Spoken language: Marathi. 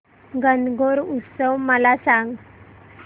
गणगौर उत्सव मला सांग